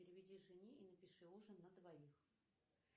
переведи жене и напиши ужин на двоих